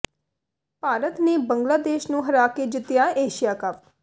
ਭਾਰਤ ਨੇ ਬੰਗਲਾਦੇਸ਼ ਨੂੰ ਹਰਾ ਕੇ ਜਿੱਤਿਆ ਏਸ਼ੀਆ ਕੱਪ